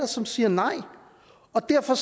som siger nej og derfor